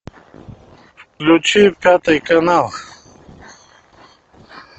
включи пятый канал